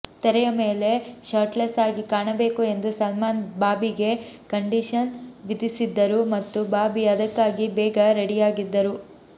ತೆರೆಯ ಮೇಲೆ ಶರ್ಟ್ಲೆಸ್ ಆಗಿ ಕಾಣಬೇಕು ಎಂದು ಸಲ್ಮಾನ್ ಬಾಬಿಗೆ ಕಂಡೀಷನ್ ವಿಧಿಸಿದ್ದರು ಮತ್ತು ಬಾಬಿ ಅದಕ್ಕಾಗಿ ಬೇಗ ರೆಡಿಯಾಗಿದ್ದರು